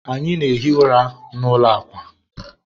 anyị na-ehi ụra n'ụlọ akwa.